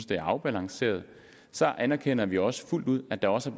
det er afbalanceret så anerkender vi også fuldt ud at der også